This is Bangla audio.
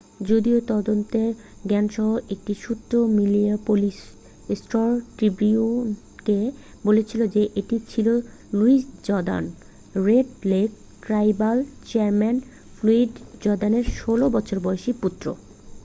যদিও তদন্তের জ্ঞানসহ একটি সূত্র মিনিয়াপলিস স্টার-ট্রিবিউনকে বলেছিল যে এটি ছিল Louis Jordan Red Lake tribal chairman Floyd জর্দানের 16 বছর বয়সী পুত্র